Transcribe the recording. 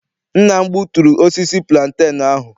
Nna m gbuturu osisi pulantenu anyị.